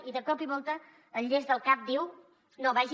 i de cop i volta el llest del cap diu no vagi